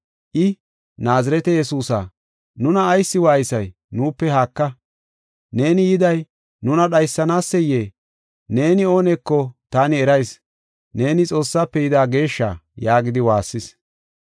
I, “Naazirete Yesuusa nuna ayis waaysay nuupe haaka; neeni yiday nuna dhaysanaseyee? Neeni ooneko taani erayis. Neeni Xoossaafe yida Geeshsha” yaagidi waassis.